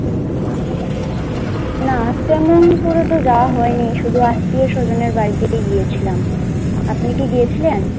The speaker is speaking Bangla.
না তেমন তো কোন যাওয়া হয়নি শুধু আত্মীয় স্বজনের বাড়িতে গিয়েছিলাম, আপনি কি গিয়েছিলেন?